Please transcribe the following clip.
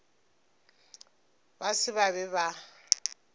ba se ba be ba